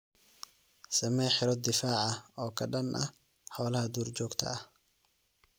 Samee xiroo difaac ah oo ka dhan ah xoolaha duurjoogta ah.